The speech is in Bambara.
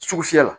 Sugu fiyɛ la